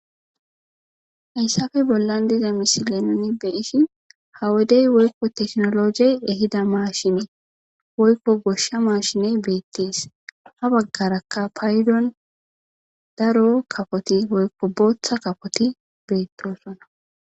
Hayssafe bollan diza misile noni beyishin hawodey woykko teknologey ehida maashinee woykko goshsha maashine beettees ha baggarakka paydon daro kafoti woykko booththa kafoti beettosona.